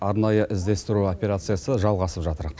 арнайы іздестіру операциясы жалғасып жатыр